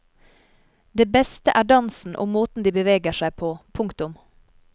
Det beste er dansen og måten de beveger seg på. punktum